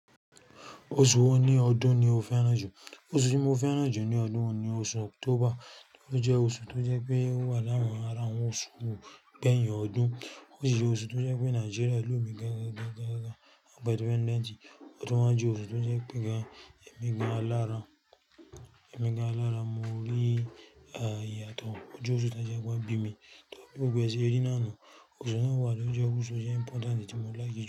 Oṣù wo ní ọdún ni o fẹ́ràn jù? Oṣù tí mo fẹ́ràn jù ní ọdún ni oṣù October, tó jẹ́ oṣù tó jẹ́ pé ó wà láwon ara àwọn oṣù gbẹyin ọdún. Ó sì jẹ́ oṣù tó jẹ́ pé Nigeria lomi gangan gangan gangan ọdún independent. Ó tún wá jẹ́ oṣù tó jẹ́ pé gan-ẹmi gan-lára, ẹ̀mi gan-lára mo rí iyàtọ̀. Ó jẹ́ oṣù tó ṣe pe won bí mi, tó pé ó gbogbo è se rí náà nu. Oṣù náà wà lóúnjẹ, oṣù náà jẹ́ important, èyí tí mo láìkì jù.